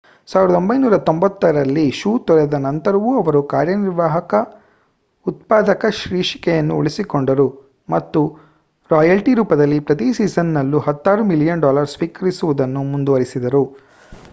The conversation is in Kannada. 1993 ರಲ್ಲಿ ಶೋ ತೊರೆದ ನಂತರವೂ ಅವರು ಕಾರ್ಯನಿರ್ವಾಹಕ ಉತ್ಪಾದಕ ಶೀರ್ಷಿಕೆಯನ್ನು ಉಳಿಸಿಕೊಂಡರು ಮತ್ತು ರಾಯಲ್ಟಿ ರೂಪದಲ್ಲಿ ಪ್ರತಿ ಸೀಸನ್‌ನಲ್ಲೂ ಹತ್ತಾರು ಮಿಲಿಯನ್ ಡಾಲರ್ ಸ್ವೀಕರಿಸುವುದನ್ನು ಮುಂದುವರಿಸಿದರು